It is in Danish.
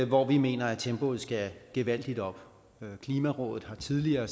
hvor vi mener at tempoet skal gevaldigt op klimarådet har tidligere